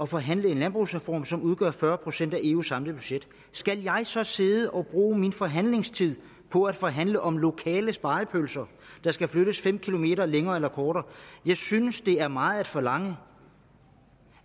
forhandle en landbrugsreform som udgør fyrre procent af eus samlede budget skal jeg så sidde og bruge min forhandlingstid på at forhandle om nogle lokale spegepølser der skal flyttes fem km længere eller kortere jeg synes at det er meget at forlange